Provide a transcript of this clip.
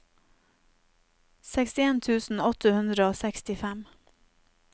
sekstien tusen åtte hundre og sekstifem